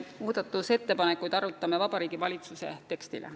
Muudatusettepanekud on Vabariigi Valitsuse teksti kohta.